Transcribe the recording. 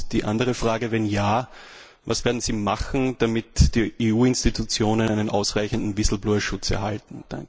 Und die andere Frage Wenn ja, was werden Sie machen, damit die EU Institutionen einen ausreichenden Schutz erhalten?